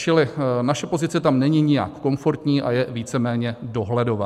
Čili naše pozice tam není nijak komfortní a je víceméně dohledová.